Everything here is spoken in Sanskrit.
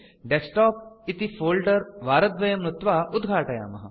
डेस्कटॉप इति फोल्डर वारद्वयं नुत्वा उद्घाटयामः